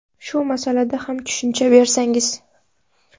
Shu masalada ham tushuncha bersangiz.